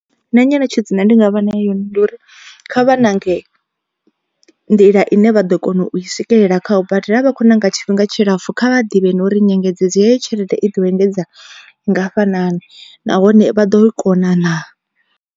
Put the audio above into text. Nṋe nyeletshedzo ine ndi nga vha nea ndi uri kha vha ṋange nḓila ine vha ḓo kona u i swikelela kha u badela. A vha khou ṋanga tshifhinga tshilapfhu kha vha ḓivhe nori nyengedzedzo heyo tshelede i ḓo engedza ngafhanani, nahone vha ḓo i kona naa.